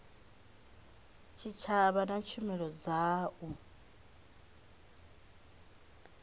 tshitshavha na tshumelo dza u